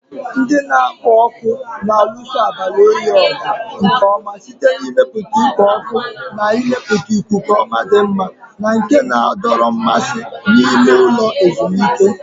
Ndị na-ekpo ọkụ na-alụso abalị oyi ọgụ nke ọma site n'ịmepụta ikpo ọkụ na ịmepụta ikuku dị mma na nke na-adọrọ mmasị n'ime ụlọ ezumike.